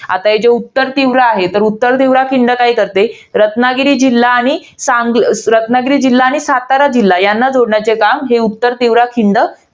आता हे जे उत्तरतीव्रा आहे, ते उत्तरतीव्रा खिंड काय करते? रत्नागिरी जिल्हा आणि संग~ रत्नागिरी जिल्हा आणि सातारा, यांना जोडण्याचे काम उत्तरतीव्रा खिंड